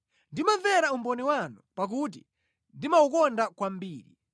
Ndimamvera umboni wanu pakuti ndimawukonda kwambiri.